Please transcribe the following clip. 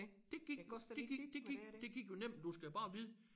Det gik det gik det gik det gik jo nemt men du skal bare vide